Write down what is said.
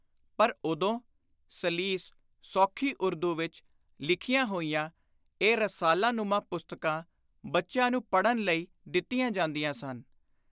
ਪਰ ਉਦੋਂ ਸਲੀਸ (ਸੌਖੀ) ਉਰਦੂ ਵਿਚ ਲਿਖੀਆਂ ਹੋਈਆਂ ਇਹ ਰਸਾਲਾ-ਨੁਮਾ ਪੁਸਤਕਾਂ ਬੱਚਿਆਂ ਨੂੰ ਪੜ੍ਹਨ ਲਈ ਦਿੱਤੀਆਂ ਜਾਂਦੀਆਂ ਸਨ।